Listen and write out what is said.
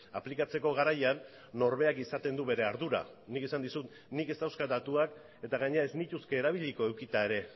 aplikatzeko garaian norberak izaten du bere ardura nik esan dizut nik ez dauzkat datuak eta gainera eznituzke erabiliko edukita ere